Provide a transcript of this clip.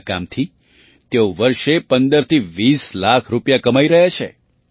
આ કામથી તેઓ વર્ષે ૧૫થી ૨૦ લાખ રૂપિયા કમાઈ રહ્યા છે